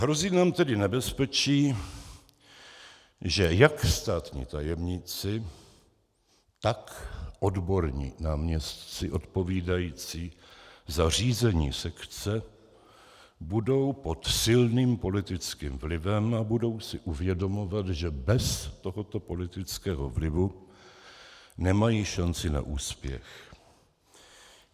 Hrozí nám tedy nebezpečí, že jak státní tajemníci, tak odborní náměstci odpovídající za řízení sekce budou pod silným politickým vlivem a budou si uvědomovat, že bez tohoto politického vlivu nemají šanci na úspěch.